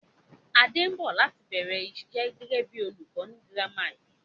Adé ń bọ̀ láti bẹ̀rẹ̀ ìṣe gẹ́gẹ́ bí olùkọ́ ni girama yìí